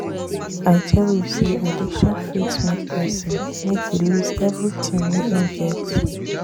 I tell you sey addiction fit make pesin make e loose everytin wey im get.